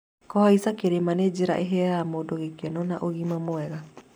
Kũhaica kĩrĩma nĩ njĩra ĩheaga mũndũ gĩkeno na ũgima mwega.